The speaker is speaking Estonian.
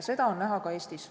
Seda on näha ka Eestis.